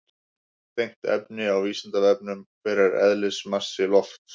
Tengt efni á Vísindavefnum: Hver er eðlismassi lofts?